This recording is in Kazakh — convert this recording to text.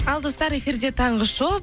ал достар эфирде таңғы шоу